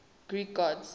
greek gods